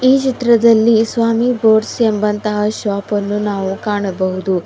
ಈ ಚಿತ್ರದಲ್ಲಿ ಸ್ವಾಮಿ ಬೋರ್ಡ್ಸ್ ಎಂಬಂತಹ ಶಾಪನ್ನು ನಾವು ಕಾಣಬಹುದು.